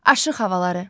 Aşıq havaları.